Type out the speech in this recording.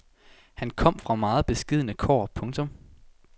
Han kom fra meget beskedne kår. punktum